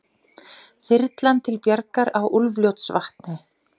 Þyrlan til bjargar á Úlfljótsvatni